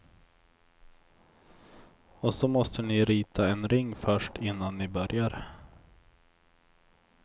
Och så måste ni rita en ring först innan ni börjar.